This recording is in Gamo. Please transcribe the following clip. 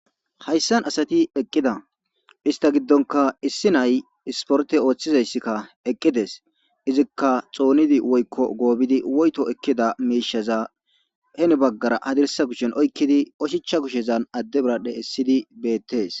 Hayissan asati eqqida ista giddonka issi nay isporte ooththizayssikka eqqides izikka xoonidi woykko goobidi woyto ekkida meishaza heni baggara hadirsa kushen oykkidi oshicha kushezan adde biradhe essidi beettees